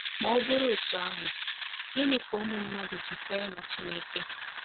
Ma ọ bụrụ otú ahụ, ginị ka ụmụ mmadụ ji kwere na Chineke?